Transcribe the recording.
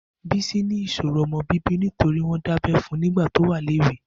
Bisi ni iṣóró ọmọ bibi nitóri wọn dábẹ̀ fún nigbà tó wà léwé